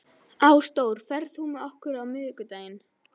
Ásdór, ferð þú með okkur á miðvikudaginn?